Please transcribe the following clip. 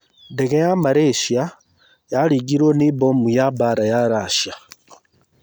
Ndege ya Malaysia yaringirũo nĩ mbomu ya mbaara ya Russia